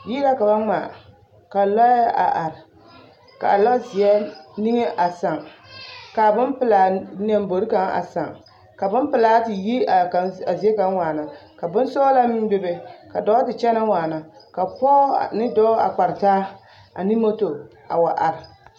Yiri la ka ba ŋmaa ka lɔɛ a are kaa lɔ zeɛ niŋe a sàà kaa bompelaa lambori kaŋ a sàà ka bompelaa te yi a kaŋ zie kaŋ waana k a bonsɔɔlaa be be ka dɔɔ te kyɛnɛ waana ka dɔɔ ane pɔge kparre taa